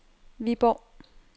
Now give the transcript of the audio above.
Viborg